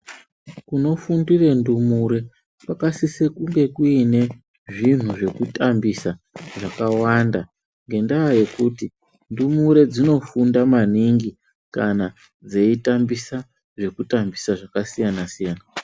Kunofundira ndumure kwakasise kunge kune zvinhu zvekutambisa zvakawanda nenyaya yekuti ndumure dzinofunda maningi kana dzeitambisa zvekutambisa zvakasiyana siyana.